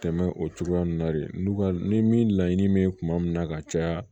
Tɛmɛ o cogoya nun na de n'u ka ni min laɲini be kuma min na ka caya